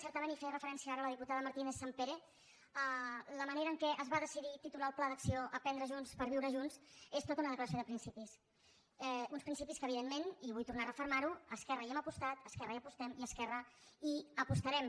certament hi feia referència ara la diputada martínezsampere la manera amb què es va decidir titular el pla d’acció aprendre junts per viure junts és tota una declaració de principis uns principis que evidentment i vull tornar a refermarho esquerra hi hem apostat esquerra hi apostem i esquerra hi apostarem